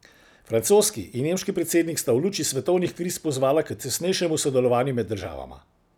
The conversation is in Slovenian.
Francoski in nemški predsednik sta v luči svetovnih kriz pozvala k tesnejšemu sodelovanju med državama.